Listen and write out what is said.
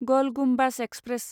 गल गुम्बाज एक्सप्रेस